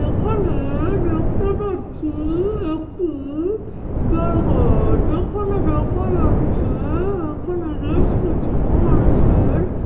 এখানে-এ দেখতে পাচ্ছি একটি জায়গা যেখানে দেখা যাচ্ছে-এ এখানে বেশ কিছু মানুষের--